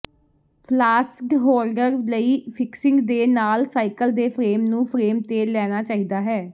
ਫਲਾਸਡ holder ਲਈ fixing ਦੇ ਨਾਲ ਸਾਈਕਲ ਦੇ ਫਰੇਮ ਨੂੰ ਫਰੇਮ ਤੇ ਲੈਣਾ ਚਾਹੀਦਾ ਹੈ